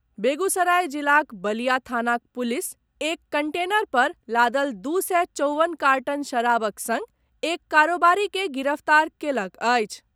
बेगूसराय जिलाक बलिया थानाक पुलिस एक कंटेनर पर लादल दू सय चौवन कार्टन शराबक संग एक कारोबारी के गिरफ्तार कयलक अछि।